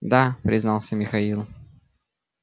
да признался михаил